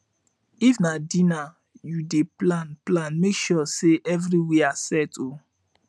if na dinner yu dey plan plan mek sure sey evriwia set o